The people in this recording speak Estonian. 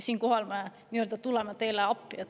Siinkohal me tuleme teile appi.